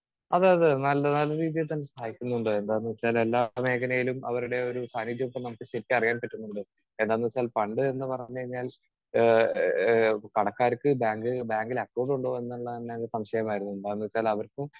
Speaker 2 അതെ അതെ നല്ല നല്ല രീതിയിൽ തന്നെ സഹായിക്കുന്നുണ്ട്. എന്താന്നുവെച്ചാൽ എല്ലാ മേഖലയിലും അവരുടെ ഒരു സാന്നിധ്യം ഒക്കെ നമുക്ക് തിരിച്ചറിയാൻ പറ്റുന്നുണ്ട്. എന്താന്നുവെച്ചാൽ പണ്ട് എന്ന് പറഞ്ഞു കഴിഞ്ഞാൽ ഏഹ് ഏഹ് കടക്കാർക്ക് ബാങ്കിൽ അക്കൗണ്ട് ഉണ്ടോ എന്നുള്ളത് തന്നെ സംശയമായിരുന്നു. എന്താന്ന് വെച്ചാൽ അവർക്കും